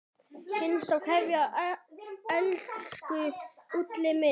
HINSTA KVEÐJA Elsku Úlli minn.